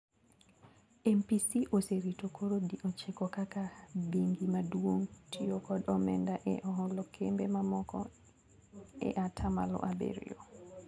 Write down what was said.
MPC oserito koro di ochiko kaka bengi maduong tio kod omenda e oholo kembe mamoko e atamalo abirio.